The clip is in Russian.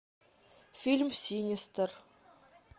фильм синистер